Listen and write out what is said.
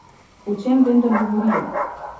O čem vendar govorijo?